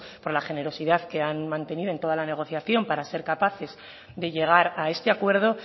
por la generosidad que han mantenido en toda la negociación para ser capaces de llegar a este acuerdo